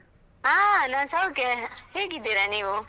ಹಾ ನಾನ್ ಸೌಖ್ಯ. ಹೇಗಿದ್ದೀರಾ ನೀವು?